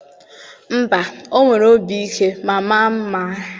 mba, o nwere obi ike ma maa mma